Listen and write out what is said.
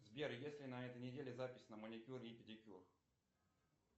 сбер есть ли на этой неделе запись на маникюр и педикюр